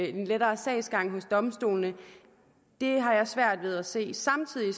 en lettere sagsgang hos domstolene har jeg svært ved at se samtidig